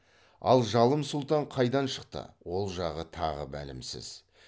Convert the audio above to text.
ал жалым сұлтан қайдан шықты ол жағы тағы мәлімсіз